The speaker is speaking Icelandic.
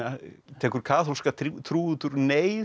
tekur kaþólska trú út úr neyð